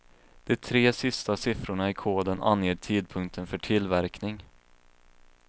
De tre sista siffrorna i koden anger tidpunkten för tillverkning.